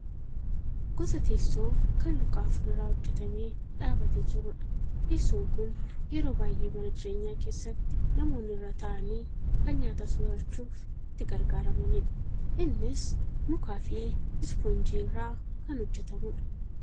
Gosa teessoo kan luka afur irraa hojjatamee dhaabatee jirudha. Teessoon kun yeroo baay'ee mana jireenyaa keessatti namoonni irra taa'anii kan nyaata soorachuuf itti gargaaramaniidha. Innis mukaafi ispoonjii irraa kan hojjatamedha.